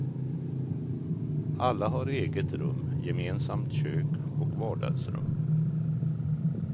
Alla har eget rum, gemensamt kök och vardagsrum.